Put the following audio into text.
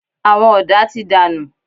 Àwọn ọ̀dà ti dànù.